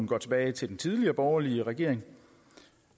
går tilbage til den tidligere borgerlige regering